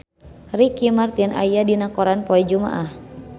Ricky Martin aya dina koran poe Jumaah